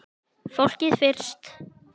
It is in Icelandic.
Fólkið fyrst!